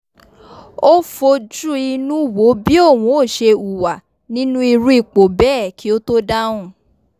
ó fojúinú wo bí òhun ó ṣe hùwà nínú irú ipò bẹ́ẹ̀ kí ó tó dáhùn